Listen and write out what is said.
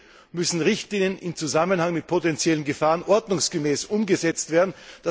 Zudem müssen Richtlinien im Zusammenhang mit potenziellen Gefahren ordnungsgemäß umgesetzt werden.